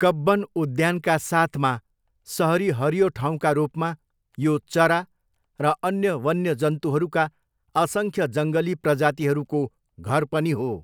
कब्बन उद्यानका साथमा सहरी हरियो ठाउँका रूपमा, यो चरा र अन्य वन्यजन्तुहरूका असङ्ख्य जङ्गली प्रजातिहरूको घर पनि हो।